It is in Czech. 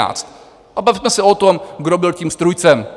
A bavme se o tom, kdo byl tím strůjcem.